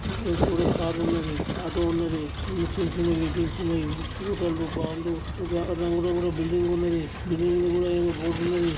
ఇక్కడ ఎవరో కారు ఉన్నది. ఆటో ఉన్నది అండ్ చిన్న చిన్నవెహికల్స్ ఉన్నాయి. ఫోటో లు బొందు రంగు రగుణుల్లా బిల్డింగ్ ఉన్నది బిల్డింగ్ న ముందు నా ఏదో బోర్డు ఉన్నది.